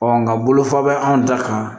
nka bolofa bɛ anw da kan